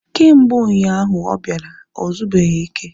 Kemgbe ụnyaahụ ahụ ọ bịara, ozubeghi ike